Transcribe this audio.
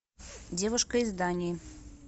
девушка из дании